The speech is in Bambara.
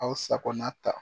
Aw sakona ta